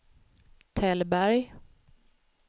Tällberg